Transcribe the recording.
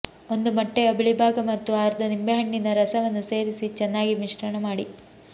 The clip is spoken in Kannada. ಒಂದು ಮೊಟ್ಟೆಯ ಬಿಳಿ ಭಾಗ ಮತ್ತು ಅರ್ಧ ನಿಂಬೆಹಣ್ಣಿನಿಂದ ರಸವನ್ನು ಸೇರಿಸಿ ಚೆನ್ನಾಗಿ ಮಿಶ್ರಮಾಡಿ